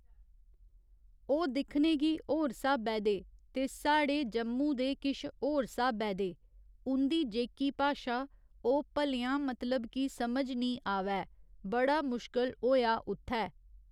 ओह् दिक्खने गी होर स्हाबै दे ते साढ़े जम्मू दे किश होर स्हाबै दे उं'दी जेह्की भाशा ओह् भलेंआं मतलब कि समझ निं आवै बड़ा मुश्कल होएआ उत्थै